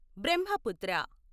Brahmaputra